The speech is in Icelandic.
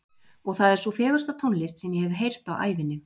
Og það er sú fegursta tónlist sem ég hef heyrt á ævinni.